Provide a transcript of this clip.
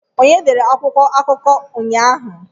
Onye dere akwụkwọ akụkọ ụnyaahụ?